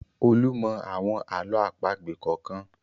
Olú mọ́ àwọn àlọ́ àpagbè kọ̀ọ̀kan.